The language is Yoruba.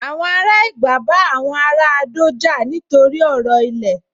Àwọn ará Ẹ̀gbá bá àwọn ará Adó jà nítorí ọ̀rọ̀ ilẹ̀